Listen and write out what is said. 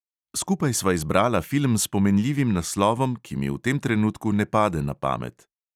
Skupaj sva izbrala film s pomenljivim naslovom, ki mi v tem trenutku ne pade na pamet.